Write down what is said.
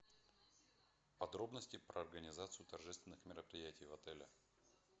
подробности про организацию торжественных мероприятий в отеле